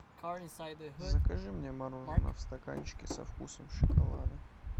закажи мне мороженое в стаканчике со вкусом шоколада